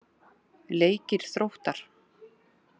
Leikir Þróttar